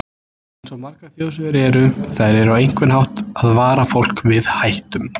Eins og margar þjóðsögur eru, þær eru á einhvern hátt að vara fólk við hættum.